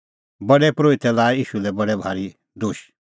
प्रधान परोहितै लाऐ ईशू लै बडै भारी दोश